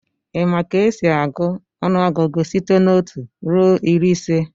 Ị ma ka esi agụọ ọnụọgụgụ site n'otu ruo iri ise?